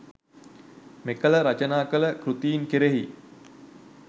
මෙකල රචනා කළ කෘතීන් කෙරෙහි